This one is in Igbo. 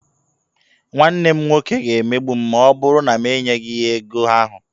Nwanne m nwoke ga-emegbu m ma ọ bụrụ na enyeghị m ya ego ahụ.